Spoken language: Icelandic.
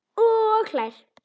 Og hlær.